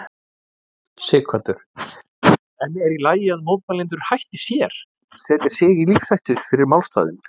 Sighvatur: En er í lagi að mótmælendur hætti sér, setji sig í lífshættu fyrir málstaðinn?